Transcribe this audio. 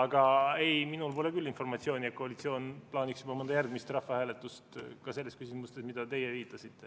Aga ei, minul ei ole küll informatsiooni, et koalitsioon plaaniks juba mõnda järgmist rahvahääletust, ka mitte selles küsimuses, millele te viitasite.